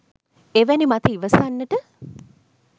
එවැනි මත ඉවසන්නට